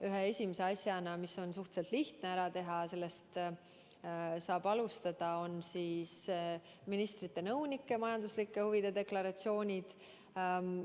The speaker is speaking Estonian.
Ühe esimese asjana, mis on suhteliselt lihtne ära teha, saab alustada ministrite nõunike majanduslike huvide deklaratsioonide nõudmist.